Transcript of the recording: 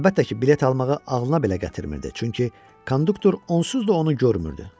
Əlbəttə ki, bilet almağı ağlına belə gətirmirdi, çünki konduktor onsuz da onu görmürdü.